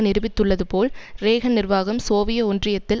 நிரூபித்துள்ளது போல் றேகன் நிர்வாகம் சோவியத் ஒன்றியத்தில்